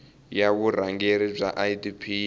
ya vurhangeri bya idp yi